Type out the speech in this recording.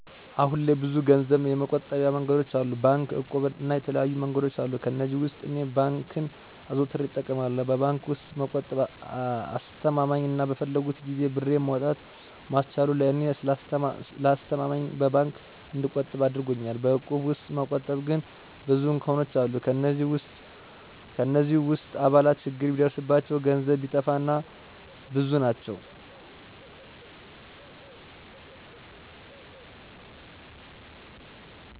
አሁን ላይ ብዙ ገንዘብ የመቆጠቢያ መንገዶች አሉ። ባንክ፣ እቁብ እና የተለያዩ መንገዶች አሉ። ከእነዚህም ውስጥ እኔ ባንክን አዘውትሬ እጠቀማለሁ። በባንክ ውስጥ መቆጠብ አስማማኝ አና በፈለኩት ጊዜ ብሬን ማውጣት ማስቻሉ ለእኔ ስለተስማማኝ በባንክ እንድቆጥብ አድርጎኛል። በእቁብ ውስጥ መቆጠብ ግን ብዙ እንከኖች አለት። ከእነዚህ ውስጥ አባላት ችግር ቢደርስባቸው፣ ገንዘብ ቢጠፋ እና እና ብዙ ናቸው።